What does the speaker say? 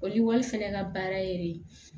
O lɔgɔli fɛnɛ ka baara ye